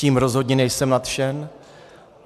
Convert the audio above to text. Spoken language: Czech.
Tím rozhodně nejsem nadšen.